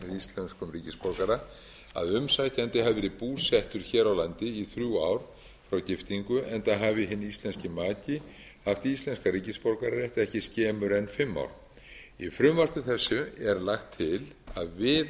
íslenskum ríkisborgara að umsækjandi hafi verið búsettur hér á landi í þrjú ár frá giftingu enda hafi hinn íslenski maki haft íslenskan ríkisborgararétt ekki skemur en fimm ár í frumvarpi þessu er lagt til að við